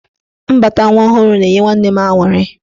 Mbata nwa ọhụrụ na-enye nwanne m aṅụrị.